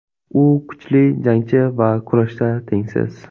U kuchli jangchi va kurashda tengsiz.